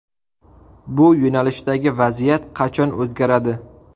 Bu yo‘nalishdagi vaziyat qachon o‘zgaradi?